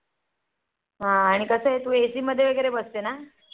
आणि कस आहे तू AC मध्ये वैगेरे बसते ना